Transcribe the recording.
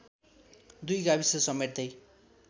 दुई गाविस समेट्दै